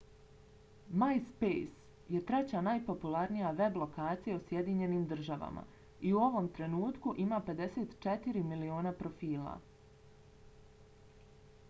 myspace je treća najpopularnija web lokacija u sjedinjenim državama i u ovom trenutku ima 54 miliona profila